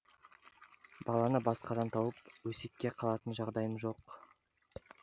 баланы басқадан тауып өсекке қалатын жағдайым жоқ